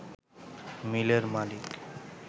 মিলের মালিক